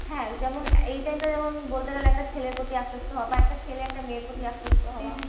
হ্যাঁ যেমন এই time টা যেমন বলতে গেলে একটা ছেলের প্রতি আকৃষ্ট হওয়া বা একটা ছেলে একটা মেয়ের প্রতি আকৃষ্ট হওয়া।